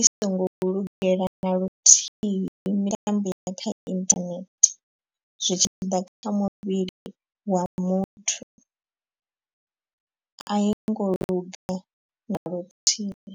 i songo lugela na luthihi mitambo ya kha internet zwi tshiḓa kha muvhili wa muthu a i ngo luga na luthihi.